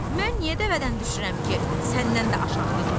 Mən niyə dəvədən düşürəm ki, səndən də aşağıda duram?